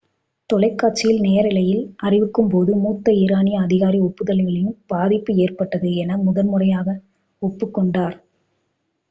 தொலைக்காட்சியில் நேரலையில் அறிவிக்கும்போது மூத்த ஈரானிய அதிகாரி ஒப்புதல்களினால் பாதிப்பு ஏற்பட்டது என முதன்முறையாக ஒப்புக்கொண்டார்